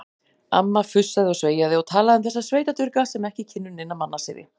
Amma fussaði og sveiaði og talaði um þessa sveitadurga sem ekki kynnu neina mannasiði.